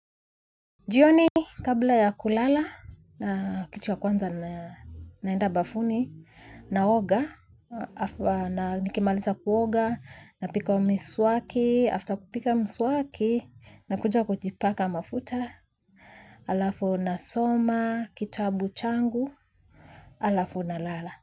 Jioni kabla ya kulala, kitu ya kwanza naenda bafuni, naoga, na nikimaliza kuoga, napiga mswaki, after kupiga miswaki, nakuja kujipaka mafuta, alafu nasoma, kitabu changu, alafu nalala.